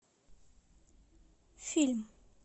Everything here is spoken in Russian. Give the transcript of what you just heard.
фильм